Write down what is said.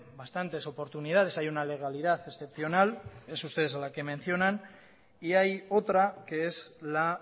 bastantes oportunidades hay una legalidad excepcional son ustedes a la que mencionan y hay otra que es la